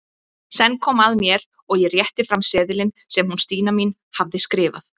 Senn kom að mér og ég rétti fram seðilinn sem hún Stína mín hafði skrifað.